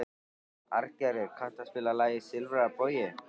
Arngerður, kanntu að spila lagið „Silfraður bogi“?